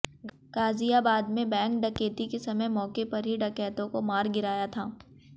गाजियाबाद में बैंक डकैती के समय मौके पर ही डकैतों को मार गिराया था